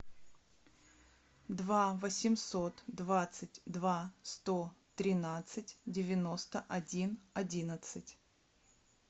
два восемьсот двадцать два сто тринадцать девяносто один одиннадцать